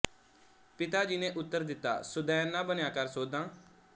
ਪਿਤਾ ਜੀ ਨੇ ਉਤਰ ਦਿੱਤਾ ਸੁਦੈਣ ਨਾ ਬਣਿਆ ਕਰ ਸੋਧਾਂ